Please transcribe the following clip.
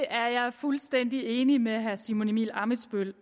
fuldstændig enig med herre simon emil ammitzbøll